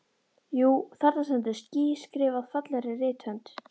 Jú, þarna stendur ský skrifað fallegri rithönd.